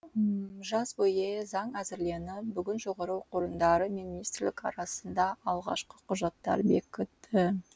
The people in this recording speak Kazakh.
жаз бойы заң әзірленіп бүгін жоғары оқу орындары мен министрлік арасында алғашқы құжаттар бекіді